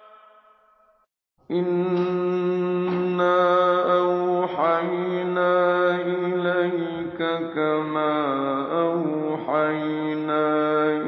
۞ إِنَّا أَوْحَيْنَا إِلَيْكَ كَمَا أَوْحَيْنَا